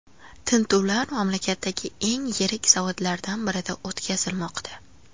Tintuvlar mamlakatdagi eng yirik zavodlardan birida o‘tkazilmoqda.